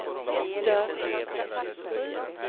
dörr